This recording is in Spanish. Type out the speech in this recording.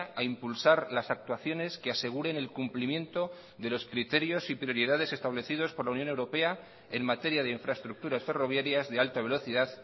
a impulsar las actuaciones que aseguren el cumplimiento de los criterios y prioridades establecidos por la unión europea en materia de infraestructuras ferroviarias de alta velocidad